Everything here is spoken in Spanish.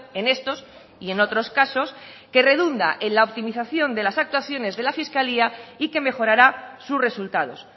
en estos y en otros casos que redunda en la optimización de las actuaciones de la fiscalía y que mejorará sus resultados